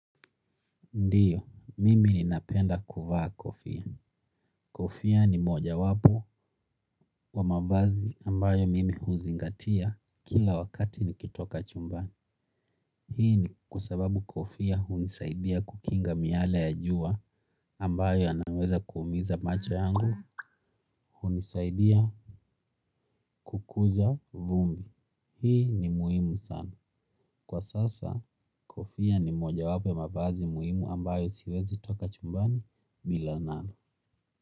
Ndio, mimi ninapenda kuvaa kofia. Kofia ni mojawapo wa mavazi ambayo mimi huzingatia kila wakati nikitoka chumbani. Hii ni kwa sababu kofia hunisaidia kukinga miale ya jua ambayo yanaweza kuumiza macho yangu. Hunisaidia kukuza vumbi. Hii ni muhimu sana. Kwa sasa, kofia ni mojawapo ya mavazi muhimu ambayo siwezi toka chumbani bila nalo.